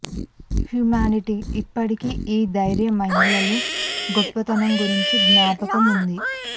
humanity ఇప్పటికీ ఈ ధైర్య మహిళలు గొప్పతనం గురించి జ్ఞాపకం ఉంది